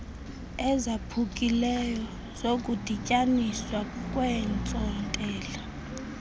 ezaphukileyo zokudityaniswa kweentsontela